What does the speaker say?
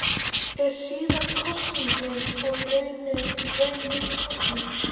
Er síðari kosningin þá í raun ný kosning.